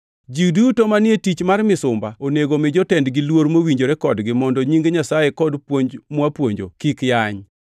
Ji duto manie tich mar misumba onego omi jotendgi luor mowinjore kodgi mondo nying Nyasaye kod puonj mwapuonjo kik yany.